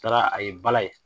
Taara a ye bala ye.